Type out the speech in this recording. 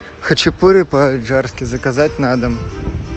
хачапури по аджарски заказать на дом